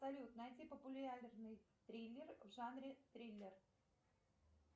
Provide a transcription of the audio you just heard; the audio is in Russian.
салют найти популярный триллер в жанре триллер